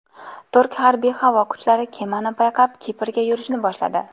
Turk harbiy havo kuchlari kemani payqab, Kiprga yurishni boshladi.